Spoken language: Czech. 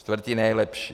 Čtvrtí nejlepší.